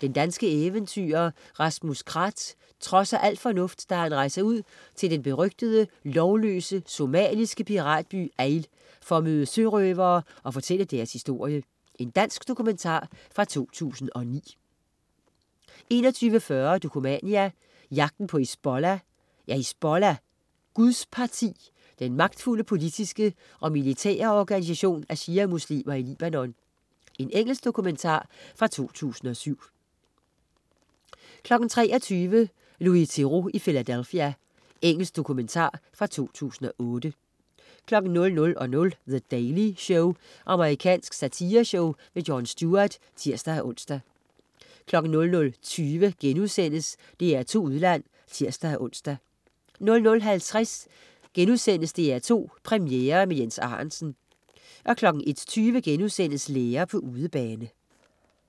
Den danske eventyrer Rasmus Krath trodser al fornuft, da han rejser ud til den berygtede lovløse somaliske piratby Eyl for at møde sørøverne og fortælle deres historie. Dansk dokumentar fra 2009 21.40 Dokumania: Jagten på Hizbollah. Er Hizbollah, Guds Parti, den magtfulde politiske og militære organisation af shia-muslimer i Libanon. Engelsk dokumentar fra 2007 23.00 Louis Theroux i Philadelphia. Engelsk dokumentar fra 2008 00.00 The Daily Show. Amerikansk satireshow. Jon Stewart (tirs-ons) 00.20 DR2 Udland* (tirs-ons) 00.50 DR2 Premiere med Jens Arentzen* 01.20 Lærer på udebane*